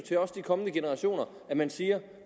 til kommende generationer at man siger